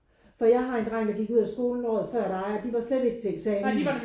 For jeg har en dreng der gik ud af skolen året før dig og de var slet ikke til eksamen